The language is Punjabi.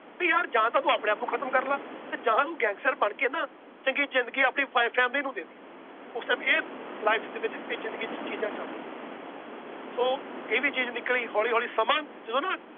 ਵੀ ਯਾਰ ਜਾਂ ਤੂੰ ਆਪਣੇ ਆਪ ਨੂੰ ਖ਼ਤਮ ਕਰ ਲਾ ਤੇ ਜਾਂ ਨੂੰ gangster ਬਣਕੇ ਨਾ ਚੰਗੀ ਜ਼ਿੰਦਗੀ ਆਪਦੀ ਫੈ family ਨੂੰ ਦੇ ਦੇ ਉਸ time ਇਹ life ਦੇ ਵਿੱਚ ਇਹ ਜ਼ਿੰਦਗੀ ਚ ਚੀਜ਼ਾਂ ਚੱਲਦੀਆਂ ਸੋ ਇਹ ਵੀ ਚੀਜ਼ ਨਿਕਲੀ ਹੌਲੀ ਹੌਲੀ ਸਮਾਂ ਜਦੋਂ ਨਾ